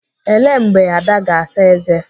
Ele mgbe Ada ga-asa ézé?